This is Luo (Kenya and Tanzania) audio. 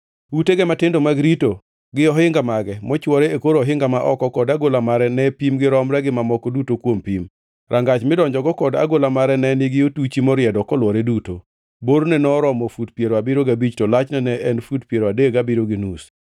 Utege matindo mag rito, gi ohinga mage mochwore e kor ohinga ma oko kod agola mare ne pimgi romre gi mamoko duto kuom pim. Rangach midonjogo kod agola mare ne nigi otuchi moriedo kolwore duto. Borne noromo fut piero abiriyo gabich to lachne ne en fut piero adek gabiriyo gi nus.